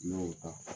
N'a y'o ta